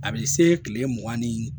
A bɛ se tile mugan ni